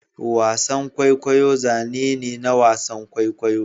wasan kwaikwayo zane ne na wasan kwaikwayo